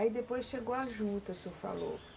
Aí depois chegou a juta, o senhor falou.